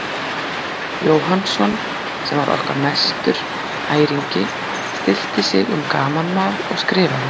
Jóhannsson, sem var okkar mestur æringi, stillti sig um gamanmál og skrifaði